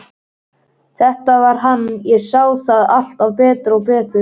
Þetta var hann, ég sá það alltaf betur og betur.